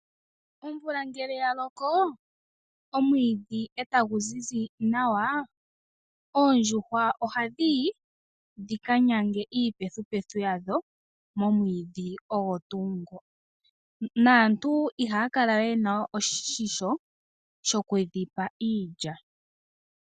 Omvula ngele ya loko omwiidhi etagu zizi nawa oondjuhwa ohadhi yi dhika nyange iipethupethu yadho momwiidhi ogo tuu ngo. Aantu ihaya kala we yena oshimpwiyu shokudhipa iilya.